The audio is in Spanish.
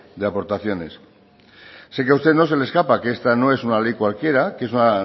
de aportaciones sé que a usted no se le escapa que esta no es una ley cualquiera que es una